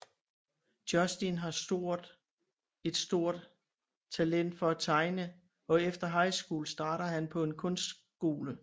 Justin har stort et stort talent for at tegne og efter high shcool starter han på en kunstskole